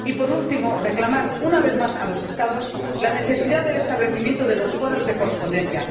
Por último, quisiera recordar una vez más a los Estados la necesidad del establecimiento de los cuadros de correspondencia.